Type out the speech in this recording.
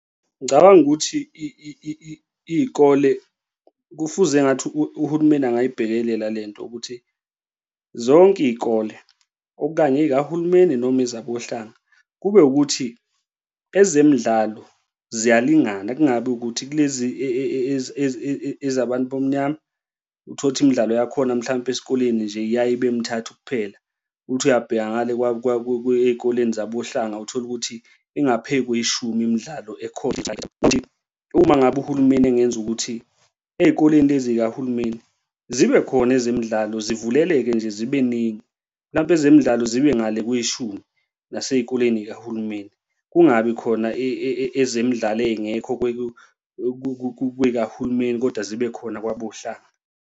Ngicabanga ukuthi iy'kole kufuze engathi uhulumeni angayibhekelela le nto ukuthi zonke iy'kole okanye ey'kahulumeni noma ezokohlanga kube ukuthi ezemidlalo ziyalingana kungabi ukuthi kulezi ezabantu abamnyama, uthole ukuthi imidlalo yakhona mhlampe esikoleni nje, iyaye ibe mithathu kuphela. Uthi uyabheka ngale ey'koleni zabohlanga uthole ukuthi ingaphey'kweshumi imidlalo ekhona. Uma ngabe uhulumeni engenza ukuthi ey'koleni lezi y'kahulumeni zibe khona ezemidlalo zivuleleke nje zibe ningi, mhlawumpe ezemidlalo zibe ngale kweshumi nasey'koleni zikahulumeni, kungabi khona ezemidlalo ey'ngekho kuy'kahulumeni, kodwa zibe khona kwabohlanga.